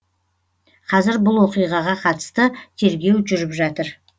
қазір бұл оқиғаға қатысты тергеу жүріп жатыр